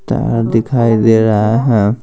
तार दिखाई दे रहा है है।